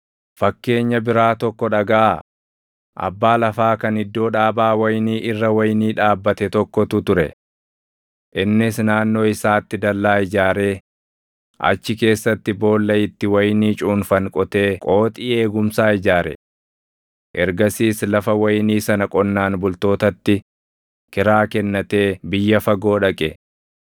“Fakkeenya biraa tokko dhagaʼaa; abbaa lafaa kan iddoo dhaabaa wayinii irra wayinii dhaabbate tokkotu ture. Innis naannoo isaatti dallaa ijaaree, achi keessatti boolla itti wayinii cuunfan qotee qooxii eegumsaa ijaare. Ergasiis lafa wayinii sana qonnaan bultootatti kiraa kennatee biyya fagoo dhaqe.